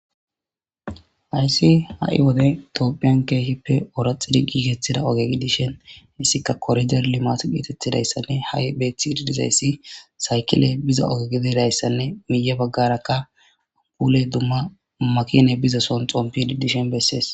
Ayssi ha'i wodey tiophiyan keehippe oraxidi gigethida oge gi dishen issika korijer limat gietettidayssanne ha'i beeththi didizayssi saykile biza ogegididayssanne miiye baggarakka upuley dumma makine biza son xompidi dishen bessees.